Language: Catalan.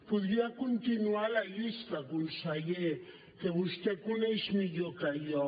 podria continuar la llista conseller que vostè coneix millor que jo